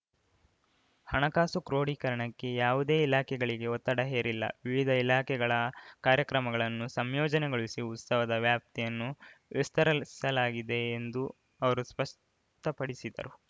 ಹಣಕಾಸು ಕ್ರೋಡೀಕರಣಕ್ಕೆ ಯಾವುದೇ ಇಲಾಖೆಗಳಿಗೆ ಒತ್ತಡ ಹೇರಿಲ್ಲ ವಿವಿಧ ಇಲಾಖೆಗಳ ಕಾರ್ಯಕ್ರಮಗಳನ್ನು ಸಂಯೋಜನೆಗೊಳಿಸಿ ಉತ್ಸವದ ವ್ಯಾಪ್ತಿಯನ್ನು ವಿಸ್ತರಿಸಲಾಗಿದೆ ಎಂದು ಅವರು ಸ್ಪಷ್ಟಪಡಿಸಿದರು